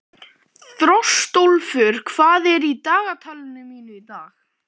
Þjóstólfur, hvað er í dagatalinu mínu í dag?